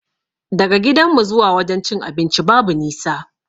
Daga gidanmu zuwa wajen cin abincin babu nisa